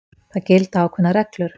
Það gilda ákveðnar reglur.